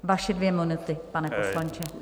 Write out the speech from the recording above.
Vaše dvě minuty, pane poslanče.